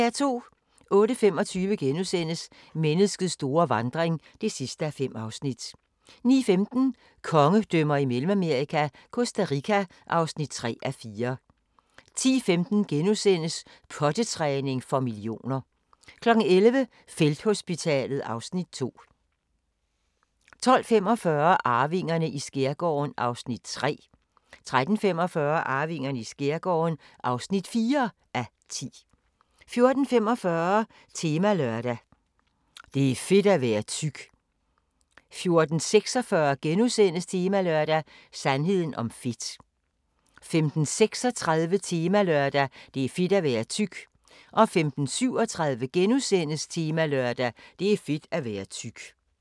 08:25: Menneskets store vandring (5:5)* 09:15: Kongedømmer i Mellemamerika – Costa Rica (3:4) 10:15: Pottetræning for millioner * 11:00: Felthospitalet (Afs. 2) 12:45: Arvingerne i skærgården (3:10) 13:45: Arvingerne i skærgården (4:10) 14:45: Temalørdag: Det er fedt at være tyk 14:46: Temalørdag: Sandheden om fedt * 15:36: Temalørdag: Det er fedt at være tyk 15:37: Temalørdag: Det er fedt at være tyk *